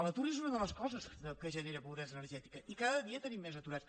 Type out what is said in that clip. l’atur és una de les coses que genera pobresa energètica i cada dia tenim més aturats